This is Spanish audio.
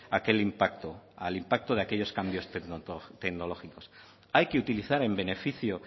a aquel impacto al impacto de aquellos cambios hay que utilizar en beneficio